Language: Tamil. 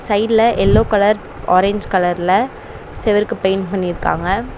சைடுல எல்லோ கலர் ஆரஞ்ச் கலர்ல செவுருக்கு பெயிண்ட் பண்ணிருக்காங்க.